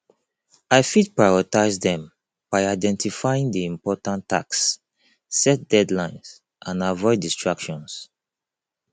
i fit prioritize dem by identifying di important tasks set deadlines and avoid distractions